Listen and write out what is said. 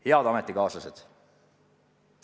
Head ametikaaslased!